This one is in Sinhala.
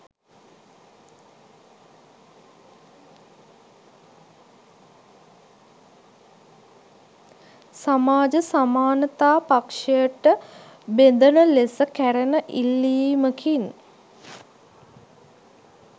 සමාජ සමානතා පක්ෂයට බැෙඳන ලෙස කෙරෙන ඉල්ලීමකින්